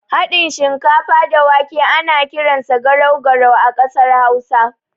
Haɗin shinkafa da wake ana kiransa garau garau a ƙasar hausa.